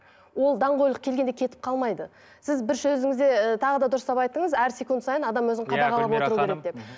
ол даңғойлық келгенде кетіп қалмайды сіз бір сөзіңізде ы тағы да дұрыстап айттыңыз әр секунд сайын адам өзін қадағалап отыру керек деп